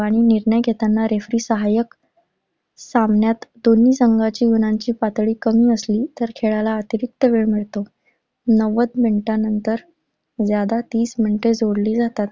आणि निर्णय घेताना referee सहाय्यक. सामन्यात दोन्ही संघांच्या गुणांची पातळी कमी असली तर खेळाला अतिरीक्त वेळ मिळतो. नव्वद मिनिटांनंतर ज्यादा तीस मिनिटे जोडली जातात.